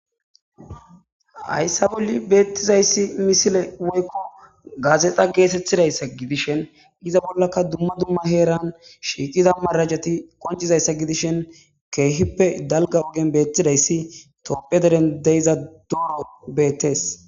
hayssa bolli beettizayssi misile woykko gaazexa geetettidayssa gidishen iza bollaka dumma dumma heeran shiiqiza marajati qoncizayssa gidishen keehippe dalga ogen beettidayssi tophe deren deyiza doro beettes